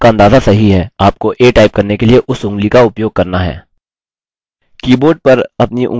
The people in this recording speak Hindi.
कीबोर्ड पर अपनी ऊँगलियों को रखें जैसा कि पाठ में पहले दर्शाया गया है